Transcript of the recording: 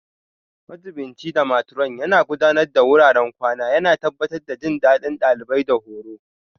Majiɓinci da Matron Yana Gudanar da wuraren kwana, yana tabbatar da jin daɗin ɗalibai da horo.